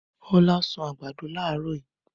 Ọlá sun àgbàdo láàárọ̀ yìí.